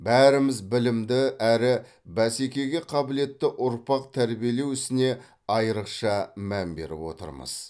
бәріміз білімді әрі бәсекеге қабілетті ұрпақ тәрбиелеу ісіне айрықша мән беріп отырмыз